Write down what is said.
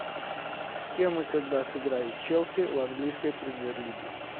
с кем и когда сыграет челси в английской премьер лиге